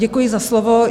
Děkuji za slovo.